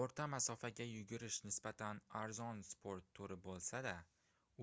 oʻrta masofaga yugurish nisbatan arzon sport turi boʻlsa-da